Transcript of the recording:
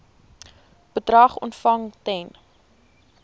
bedrag ontvang ten